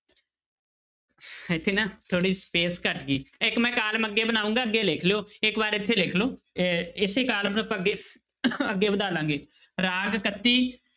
ਇੱਥੇ ਨਾ ਥੋੜ੍ਹੀ space ਘੱਟ ਗਈ ਇੱਕ ਮੈਂ column ਅੱਗੇ ਬਣਾਊਂਗਾ ਅੱਗੇ ਲਿਖ ਲਇਓ, ਇੱਕ ਵਾਰ ਇੱਥੇ ਲਿਖ ਲਓ, ਇਹ ਇਸੇ column ਨੂੂੰ ਆਪਾਂ ਅੱਗੇ ਅੱਗੇ ਵਧਾ ਲਵਾਂਗੇ ਰਾਗ ਇਕੱਤੀ,